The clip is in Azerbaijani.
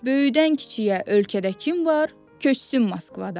Böyüdən kiçiyə ölkədə kim var, köçsün Moskvadan.